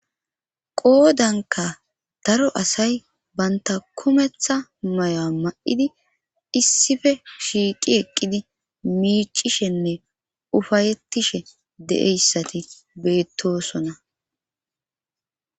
Qoodankka daro asay banta kumeththa mayuwa ma7idi issife shiiqi eqqidi miicishenne ufayettishe de7eyssati beettosona.